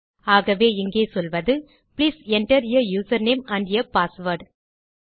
ஆகவே இங்கே சொல்வது please enter uh user name and uh password